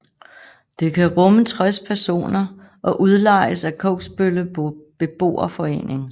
Det kan rumme 60 personer og udlejes af Kogsbølle Beboerforening